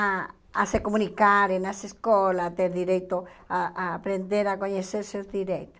A a se comunicar nas escolas, ter direito a a aprender, a conhecer seus direitos.